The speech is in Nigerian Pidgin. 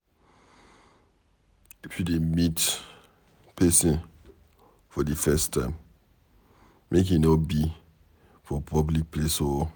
If you dey meet pesin for de first time, make e be for public place oo.